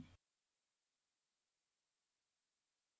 अब दो स्तर तक वापस जाएँ